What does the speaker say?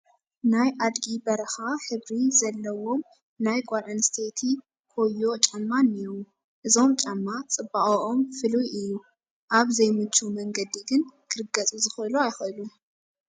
ናይ ኣድጊ በረኻ ሕብሪ ዘለዎም ናይ ጓል ኣነስተይቲ ኮዮ ጫማ እኔዉ፡፡ እዞም ጫማ ፅባቐኦም ፍሉይ እዩ፡፡ ኣብ ዘይምቹ መንገዲ ግን ክርገፁ ዝኽእሉ ኣይኽእሉን፡፡